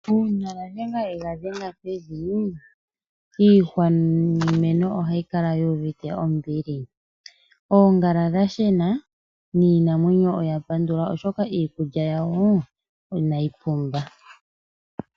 Uuna waadhe ga dhenga pevi, iihwa niimeno oha yi kala yio uvite ombili. Oongala dha shena nii namwenyo oya pandula oshoka iikulya yawo inayi pumba.